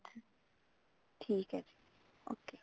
ਠੀਕ ਹੈ ਜੀ okay